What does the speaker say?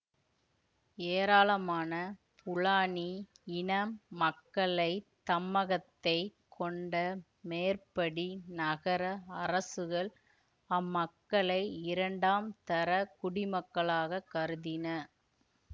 ஏராளமான ஃபுலானி இன மக்களை தம்மகத்தே கொண்ட மேற்படி நகர அரசுகள் அம்மக்களை இரண்டாம் தர குடிமக்களாகக் கருதின